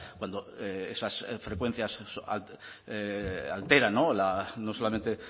cuando esas frecuencias alteran no solamente